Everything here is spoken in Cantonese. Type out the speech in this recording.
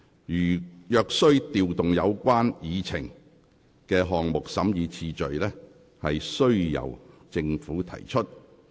如須調動議程項目的審議次序，須由政府提出要求。